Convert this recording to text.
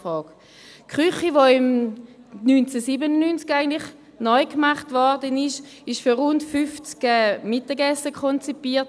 Die Küche, die 1997 neu gemacht wurde, war für rund 50 Mittagessen konzipiert.